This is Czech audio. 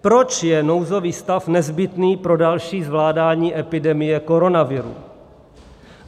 Proč je nouzový stav nezbytný pro další zvládání epidemie koronaviru?